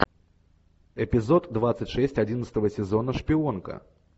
эпизод двадцать шесть одиннадцатого сезона шпионка